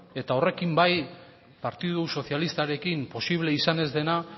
eta horrekin bai partidu sozialistarekin posible izan ez dena